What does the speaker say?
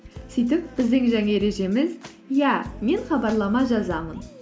сөйтіп біздің жаңа ережеміз иә мен хабарлама жазамын